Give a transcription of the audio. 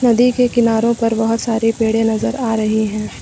नदी के किनारों पर बहोत सारे पेड़े नजर आ रहे हैं।